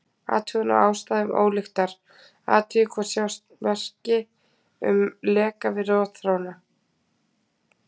Athugun á ástæðum ólyktar: Athugið hvort sjást merki um leka við rotþróna.